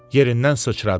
Yerindən sıçradı.